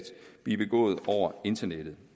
blive begået over internettet